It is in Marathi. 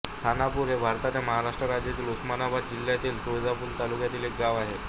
खानापूर हे भारताच्या महाराष्ट्र राज्यातील उस्मानाबाद जिल्ह्यातील तुळजापूर तालुक्यातील एक गाव आहे